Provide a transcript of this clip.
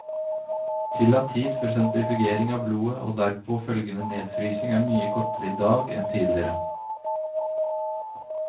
Tillatt tid før sentrifugering av blodet og derpå følgende nedfrysning, er mye kortere i dag enn tidligere.